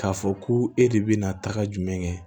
K'a fɔ ko e de bɛ na tagama kɛ